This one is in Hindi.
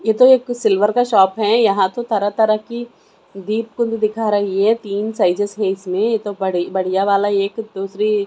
ये तो एक सिल्वर का शॉप है यहां तो तरह-तरह की दीपक दिखा रही है तीन है इसमें ये तो बढ़ बढ़िया वाला एक दूसरी---